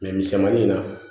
misɛmanin in na